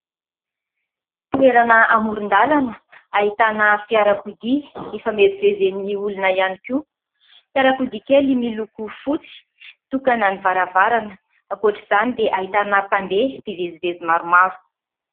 Toerana amoron-dalana ahitana fiarakodia, ifamezivezen'ny olona ihany koa ; fiarakodia kely miloko fotsy, tokana ny varavarana. Ankoatr'izany dia ahitana mpandeha mpivezivezy maromaro.